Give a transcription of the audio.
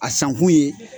A san kun ye